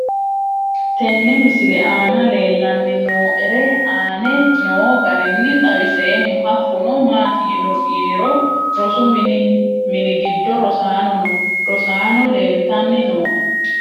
Tenne misile aana leelanni nooerre aane noo garinni xawiseemmo. Hakunno maati yinirro rosu minni giddo rosanni noo rosaano leelitanni nooe.